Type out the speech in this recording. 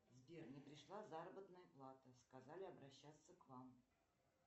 сбер не пришла заработная плата сказали обращаться к вам